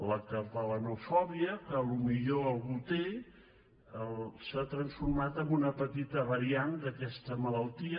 la catalanofòbia que potser algú té s’ha transformat en una petita variant d’aquesta malaltia